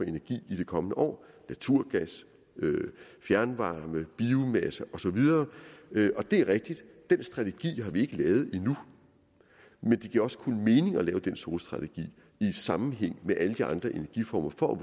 energi i de kommende år naturgas fjernvarme biomasse og så videre og det er rigtigt at den strategi har vi ikke lavet endnu men det giver også kun mening at lave den solstrategi i sammenhæng med alle de andre energiformer for at